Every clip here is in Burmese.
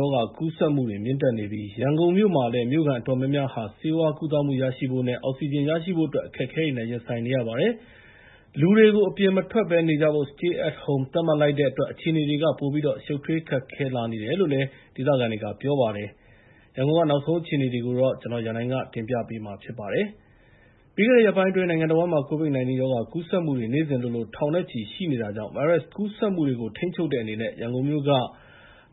ရောဂါ ကူးစက်မှုတွေ မြင့်တက်နေပြီး ရန်ကုန်မြို့မှာလည်း မြို့ခံတွေအတော်များများဟာ ဆေးဝါးကုသမှုရရှိဖို့နဲ့ အောက်ဆီဂျင် ရရှိဖို့အတွက် အခက်အခဲတွေနဲ့ ရင်ဆိုင်နေရပါတယ်။ လူတွေကို အပြင်မထွက်ဘဲ နေကြဖို့ (Stay at Home) သတ်မှတ်လိုက်တဲ့ အတွက်လည်း အခြေအနေတွေက ပိုပြီးတော့ ရှုပ်ထွေးခက်ခဲလာနေပါတယ်လို့ ဒေသခံတွေက ပြောပါတယ်။ ရန်ကုန် နောက်ဆုံးအခြေအနေတွေကို ကိုရန်နိုင်က စုစည်း တင်ပြပေးထားပါတယ်။ ပြီးခဲ့တဲ့ ရက်ပိုင်းတွေအတွင်း နိုင်ငံတဝန်းမှာ COVID-19 ရောဂါ ကူးစက်မှုတွေဟာ နေ့စဉ်လိုလို ထောင်နဲ့ချီ ရှိနေတာကြောင့် ဗိုင်းရပ်စ်ကူးစက်မှုတွေကို ထိန်းချုပ်တဲ့အနေနဲ့ ရန်ကုန်မြို့က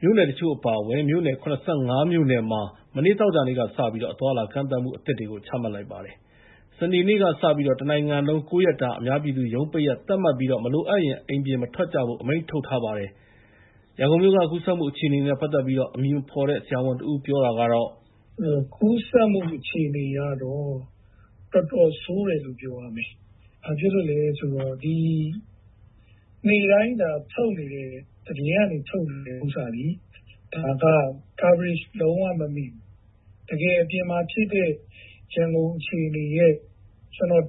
မြို့နယ်တချို့ အပါအဝင် မြို့နယ် ၇၅ မြို့နယ်မှာ မနေ့ သောကြာနေ့ကစပြီး အသွားအလာ ကန့်သတ်မှုအသစ်တွေကို ချမှတ်လိုက်ပါတယ်။ စနေနေ့က စပြီးတော့လည်း တနိုင်ငံလုံး ၉ ရက်တာ အများပြည်သူ ရုံးပိတ်ရက် သတ်မှတ်ပြီး မလိုအပ်ရင် အိမ်ပြင်မထွက်ဖို့ အမိန့်ထုတ်ထားပါတယ်။ ရန်ကုန်မြို့က ရောဂါကူးစက်မှု အခြေအနေနဲ့ ပတ်သက်ပြီး အမည်မဖော်တဲ့ ဆရာဝန်တဦး ပြောတာကတော့... “ကူးစက်မှုအခြေအနေကတော့ တော်တော်ဆိုးတယ်လို့ ပြောရမယ်။ ဘာဖြစ်လို့လဲဆိုတော့ နေ့တိုင်း သတင်းကနေ ထုတ်နေတဲ့ဟာသည် coverage လုံးဝမမိဘူး။ ကျနော်ထင်တာကတော့ တကယ် အပြင်မှာဖြစ်တဲ့ ရန်ကုန်အခြေအနေရဲ့ ၁၀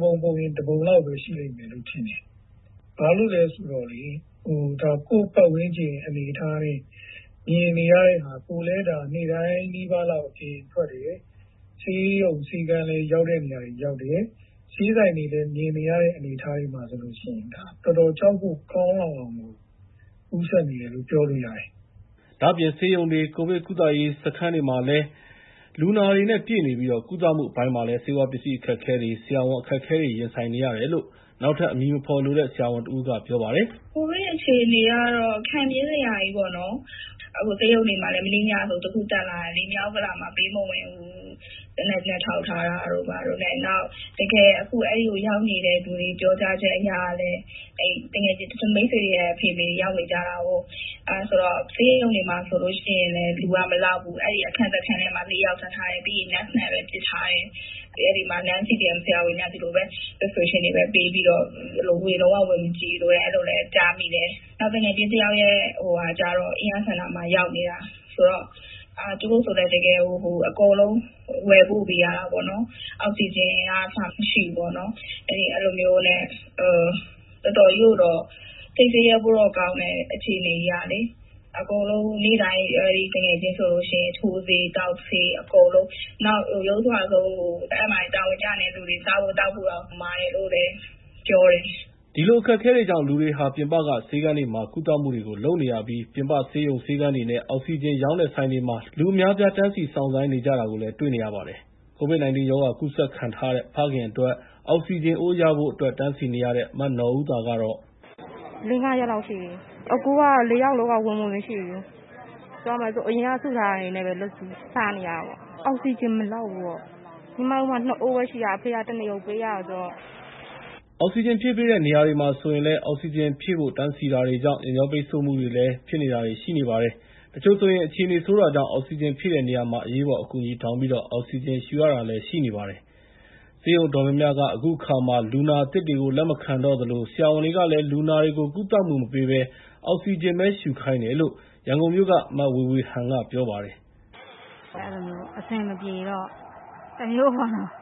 ပုံ ၁ ပုံလောက်ပဲ ရှိမယ်လို့ထင်တယ်။ ဘာလို့လဲဆိုတော့ ဆေးဆိုင်တွေထဲ မြင်နေရတဲ့ အနေအထားတွေမှာ ဆိုလို့ရှိရင် တော်တော်ကြောက်ဖို့ ကောင်းလောက်အောင်ကို ကူးစက်နေတယ်လို့ ပြောလို့ရတယ်။” ဒါ့အပြင် ဆေးရုံတွေ၊ ကိုဗစ်ကုသရေး စခန်းတွေမှာလည်း လူနာတွေနဲ့ ပြည့်နေပြီး ကုသမှုအပိုင်းမှာလည်း ဆေးဝါးပစ္စည်း အခက်အခဲတွေ၊ ဆရာဝန်အခက်အခဲတွေနဲ့ ရင်ဆိုင်နေရတယ်လို့ နောက်ထပ် အမည်မဖော်လိုတဲ့ ဆရာဝန်တဦးကလည်း ပြောပါတယ်။ “ကိုဗစ်အခြေအနေကတော့ ခံပြင်းစရာကြီးပေါ့။ ဆေးရုံတွေမှာလည်း မနေ့ညကဆို တခုတက်လာတယ်လေ၊ မြောက်ဥက္ကလာမှာ ပေးမဝင်ဘူး၊ သေနတ်နဲ့ ထောက်ထားတာတို့ ဘာတို့နဲ့။ နောက် တကယ် အဲဒီကိုရောက်နေတဲ့လူတွေ ပြောကြားချက်အရကလည်း သူငယ်ချင်း၊ မိတ်ဆွေတွေရဲ့ အဖေ၊ အမေတွေ ရောက်နေကြတာကိုး။ ဆေးရုံတွေမှာ ဆိုလို့ရှိရင်လည်း လူကမလောက်ဘူး၊ အဲဒီအခန်းတခန်းထဲမှာ လူက ၄ ယောက်ထားထားတယ်။ သူနာပြု (Nurse) နဲ့ပဲ ပစ်ထားတယ်။ အဲဒီမှာ CDM မလုပ်တဲ့ ဆရာဝန်တွေက ဆေးစာ (prescriptions) တွေပဲ ပေးပြီးတော့ လုံးဝဝင်မကြည့်လို့ အဲဒီလိုလည်း ကြားမိတယ်။ နောက်သူငယ်ချင်းတယောက်ရဲ့ မိသားစုကျတော့လည်း အင်းယားစင်တာမှာ ရောက်နေတယ်။ ဆိုတော့ သူတို့ဆိုလည်း တကယ်ကို အကုန်လုံး ဝယ်ပို့ပေးရတာပေါ့။ အောက်ဆီဂျင်ကအစ မရှိဘူး။ အဲဒီလိုမျိုး အခြေအနေကြီးက တော်တော်ကြီးကိုတော့ စိတ်ဆင်းရဲဖို့ ကောင်းနေတယ်။ အဲဒီသူငယ်ချင်းဆိုလို့ရှိရင် နေ့တိုင်း ထိုးဆေး၊ သောက်ဆေး အကုန်လုံး၊ နောက် ယုတ်စွအဆုံး အဲဒီမှာ တာဝန်ကျနေတဲ့လူတွေ စားဖို့ သောက်ဖို့တောင် မှာတယ်လို့လည်း ပြောတယ်။” အဲဒီလို အခက်အခဲတွေကြောင့် လူတွေဟာ ပြင်ပက ဆေးခန်းတွေမှာပဲ ကုသမှုတွေကို လုပ်နေရပြီး ပြင်ပဆေးရုံ ဆေးခန်းတွေနဲ့ အောက်ဆီဂျင်ရောင်းတဲ့ ဆိုင်တွေမှာ လူအများအပြား တန်းစီ စောင့်ဆိုင်းနေကြတာကို တွေ့နေရပါတယ်။ COVID-19 ရောဂါ ကူးစက်ခံထားရတဲ့ ဖခင်အတွက် အောက်ဆီဂျင်အိုးရဖို့ တန်းစီနေရတဲ့ မနော်ဦးသာကတော့... “လေးငါးရက်လောက်ရှိပြီ။ အခုက ၄ ယောက်စလုံးက ဝင်ငွေမရှိဘူး။ အရင်က စုထားတာတွေနဲ့ပဲ စားနေရတာပေါ့။ အောက်ဆီဂျင်မလောက်ဘူးပေါ့။ ညီမတို့မှာ ၂ အိုးပဲရှိတာ၊ အဖေက တနေကုန်ပေးရတယ်။” အောက်ဆီဂျင်ဖြည့်ပေးတဲ့ နေရာတွေနားမှာ ဆိုရင်လည်း အောက်ဆီဂျင်ဖြည့်ဖို့ တန်းစီတာတွေကြောင့် ယာဉ်ကြောပိတ်ဆို့မှုတွေလည်း ဖြစ်တာတွေ ရှိနေပါတယ်။ တချို့ဆိုရင် အခြေအနေ ဆိုးနေတာကြောင့် အောက်ဆီဂျင်ဖြည့်တဲ့နေရာမှာ အရေးပေါ် အကူအညီ တောင်းပြီးတော့ အောက်ဆီဂျင် ရှူရတာတွေလည်း ရှိနေပါတယ်။ ဆေးရုံအတော်များများက အခုအခါမှာ လူနာသစ်တွေကို လက်မခံတော့သလို ဆရာဝန်တွေကလည်း လူနာတွေကို ကုသမှုမပေးဘဲ အောက်ဆီဂျင်ပဲ ရှူခိုင်းတယ်လို့ ရန်ကုန်မြို့က မဝေဝေဟန်က ပြောပါတယ်။ “အဲဒီလိုမျိုး အဆင်မပြေတော့ တမျိုးပေါ့နော်။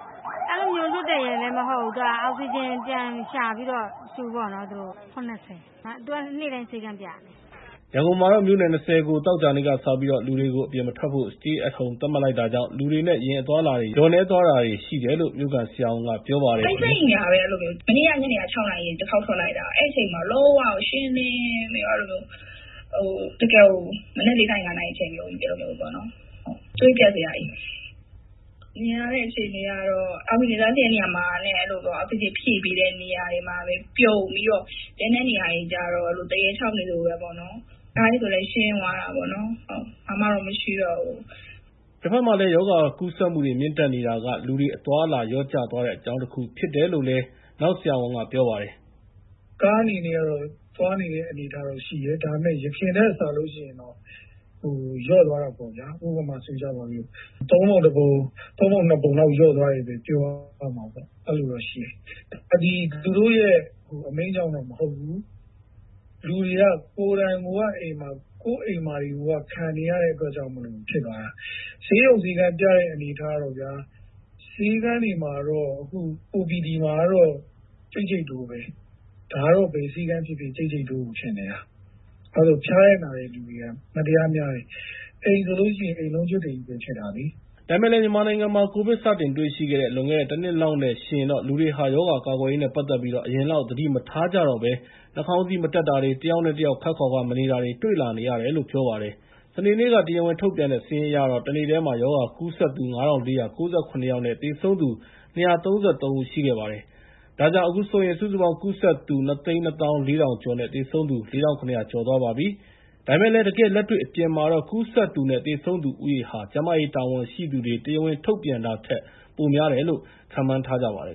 အဲဒီလိုမျိုး လွှတ်တယ်ရယ်လည်း မဟုတ်ဘူး၊ သူက အောက်ဆီဂျင် ပြန်ရှာပြီးတော့ ရှူပေါ့နော်။ အသက်က ၇၀ သူက နေ့တိုင်း ဆေးခန်းပြရတယ်။” ရန်ကုန်မှာတော့ မြို့နယ် ၂၀ ကို သောကြာနေ့ကစပြီးတော့ လူတွေကို အပြင်မထွက်ဖို့ Stay at Home သတ်မှတ်လိုက်တာကြောင့် လူတွေနဲ့ ယာဉ်အသွားအလာတွေ လျော့နည်းသွားတာတွေ ရှိတယ်လို့ မြို့ခံဆရာဝန်က ပြောပါတယ်။ “မနေ့က ညနေ ၆ နာရီက တခေါက်ထွက်လိုက်တယ်။ အဲဒီအချိန်မှာ လုံးဝကို ရှင်းလင်းပြီးတော့ သွေးပျက်စရာကြီး။ အောက်ဆီဂျင်တန်းစီတဲ့ နေရာမှာနဲ့ အောက်ဆီဂျင် ဖြည့်ပေးတဲ့ နေရာတွေမှာပဲ ပြုံပြီးတော့ ကျန်တဲ့နေရာတွေမှာတော့ သရဲခြောက်နေသလိုပဲပေါ့နော်။” ရောဂါကူးစက်မှုတွေ မြင့်တက်နေတာကလည်း လူတွေ အသွားအလာ လျော့ကျသွားတဲ့အကြောင်းတခု ဖြစ်တယ်လို့လည်း ပြောပါတယ်။ “ကားအနေနဲ့ကတော့ သွားနေတဲ့ အနေအထားကတော့ ရှိတယ်။ ဒါပေမယ့် အရင်ထက်စာလို့ရှိရင်တော့ လျော့သွားတာပေါ့ဗျာ။ ဥပမာ ၃ ပုံ ၁ ပုံ၊ ၃ ပုံ ၂ ပုံလောက် လျော့သွားတယ် ပြောရမှာပေါ့ဗျာ။ အဲဒီလိုတော့ရှိတယ်။ သူတို့ရဲ့ အမိန့်ကြောင့်တော့ မဟုတ်ဘူး။ လူတွေက ကိုယ့်အိမ်မှာကို ခံနေရတဲ့အတွက်ကြောင့်မို့လို့ အဲဒီလိုဖြစ်သွားတာ။ ဆေးရုံဆေးခန်းပြတဲ့ အနေအထားကတော့ဗျာ ဆေးခန်းတွေ OPT တွေမှာတော့ ကြိတ်ကြိတ်တိုးပဲ။ ဒါကတော့ ဘယ်ဆေးခန်းဖြစ်ဖြစ် ကြိတ်ကြိတ်တိုးကို ဖြစ်နေတာ။ ဖျားတဲ့နာတဲ့လူတွေက မတရားများတယ်။ အိမ်ဆိုရင် အိမ်လုံးကျွတ်တွေကြီးပဲ ဖြစ်တာလေ။” ဒါပေမယ့်လည်း မြန်မာနိုင်ငံမှာ ကိုဗစ်စတင်တွေ့ရှိခဲ့တဲ့ လွန်ခဲ့တဲ့ ၁ နှစ်လောက်နဲ့ ယှဉ်ရင်တော့ လူတွေဟာ ရောဂါကာကွယ်ရေးနဲ့ ပတ်သက်ပြီး အရင်လောက် သတိမထားကြတော့ဘဲ နှာခေါင်းစည်းမတပ်တာတွေ၊ တယောက်နဲ့တယောက် ခပ်ခွာခွာ မနေတာတွေ တွေ့လာနေရတယ်လို့ ပြောပါတယ်။ စနေနေ့က တရားဝင်ထုတ်ပြန်တဲ့ စာရင်းအရတော့ တနေ့တည်း ရောဂါကူးစက်သူ ၅,၄၉၇ ယောက်နဲ့ သေဆုံးသူ ၂၃၃ ဦး ရှိခဲ့ပါတယ်။ ဒါကြောင့် အခုဆိုရင် စုစုပေါင်း ကူးစက်သူ ၂၂၄,၀၀၀ ကျော်နဲ့ သေဆုံးသူ ၄,၇၀၀ ကျော်သွားပါပြီ။ ဒါပေမယ့်လည်း တကယ်လက်တွေ့ အပြင်မှာတော့ ကူးစက်သူနဲ့ သေဆုံးသူဦးရေဟာ ကျန်းမာရေး တာဝန်ရှိသူတွေက တရားဝင်ထုတ်ပြန်တာထက် ပိုများတယ်လို့ ခန့်မှန်းထားကြပါတယ်